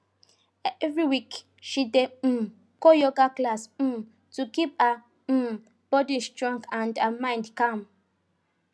every week she dey um go yoga class um to keep her um body strong and her mind calm